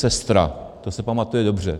SeStra, to se pamatuje dobře.